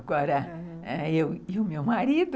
Agora, ãh, eu e o meu marido...